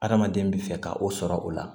Adamaden bɛ fɛ ka o sɔrɔ o la